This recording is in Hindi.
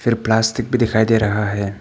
प्लास्टिक भी दिखाई दे रहा है।